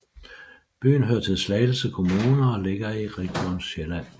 Byen hører til Slagelse Kommune og ligger i Region Sjælland